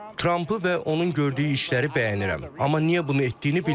Trampı və onun gördüyü işləri bəyənirəm, amma niyə bunu etdiyini bilmirəm.